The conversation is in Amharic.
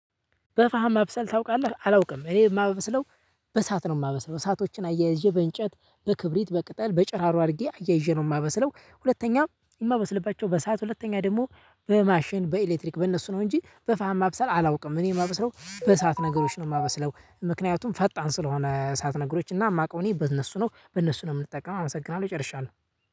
በፋሃም ማብሰል ታውቃለህ አላውቅም እኔ የማበስለው በሳት ነው የማበስለው እሳቶችን አያይዤ በእንጨት በክብሪት በቅጠል በጭራሮ አድርጌ አያይዤ ነው የማበስለው። ሁለተኛ የማበስልባቸው በእሳት ሁለተኛ ደግሞ በማሽን በኤሌክትሪክ በእነሱ ነው እንጂ በፋም አብሰል አላውቅም እኔ የማበስለው በእሳት ነገሮች ነው የማበስለው። ምክንያቱም ፈጣን ስለሆነ እሳትነገሮች እና የማውቀው እኔ በእነሱ ነው በእነሱ ነው የምጠቀመው። አመሰግናለሁ። ይጨርሻል